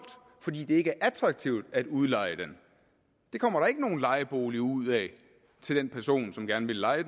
fordi det ikke er attraktivt at udleje den det kommer der ikke nogen lejebolig ud af til den person som gerne vil leje